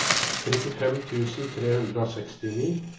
trettifem tusen tre hundre og sekstini